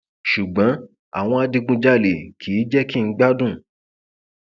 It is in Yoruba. ṣùgbọn àwọn adigunjalè kì í jẹ kí n gbádùn